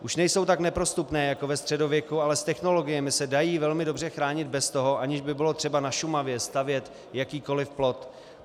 Už nejsou tak neprostupné jako ve středověku, ale s technologiemi se dají velmi dobře chránit bez toho, aniž by bylo třeba na Šumavě stavět jakýkoli plot.